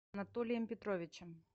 анатолием петровичем